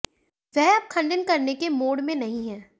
वह अब खंडन करने के मोड में नहीं है